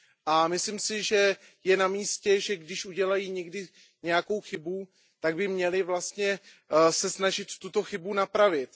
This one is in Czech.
A myslím si, že je na místě, že když udělají někdy nějakou chybu, tak by měli vlastně se snažit tuto chybu napravit.